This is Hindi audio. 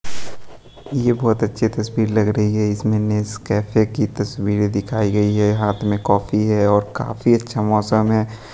यह बहोत अच्छी तस्वीर लग रही है इसमें नेस कैफे की तस्वीर दिखाई गई है। हाथ में कॉपी है और काफी अच्छा मौसम है।